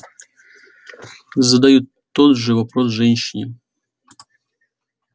задают тот же вопрос женщине